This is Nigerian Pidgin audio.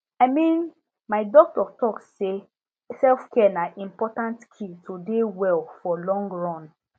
i mean my doctor talk say selfcare na important key to dey well for long run